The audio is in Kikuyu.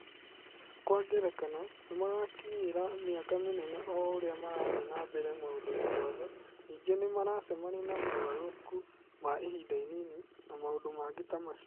Kwa ngerekano, nĩ marakinyĩra mĩaki mĩnene o ũrĩa marathiĩ na mbere maũndũ-inĩ mothe, ningĩ nĩ maracemania na mogarũrũku ma ihinda inini, na maũndũ mangĩ ta macio.